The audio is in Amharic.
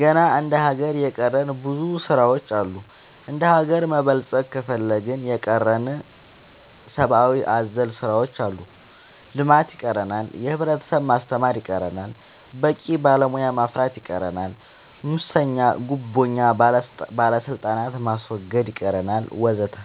ገና እንደ ሀገር የቀረን ብዙ ስራ ዎች አሉ እንደሀገር መበልፀግ ከፈለግን የቀረን ሰባአዊ አዘል ስራዎች አሉ ልማት ይቀረናል የህብረተሰብ ማስተማር ይቀረናል በቂ ባለሙያ ማፍራት ይቀረናል ሙሰኛ ጉቦኛ ባለስልጣናት ማስወገድ ይቀረናል ወዘተ